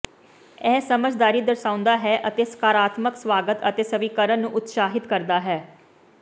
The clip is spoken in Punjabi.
ਇਹ ਸਮਝਦਾਰੀ ਦਰਸਾਉਂਦਾ ਹੈ ਅਤੇ ਸਕਾਰਾਤਮਕ ਸਵਾਗਤ ਅਤੇ ਸਵੀਕਾਰਨ ਨੂੰ ਉਤਸ਼ਾਹਿਤ ਕਰਦਾ ਹੈ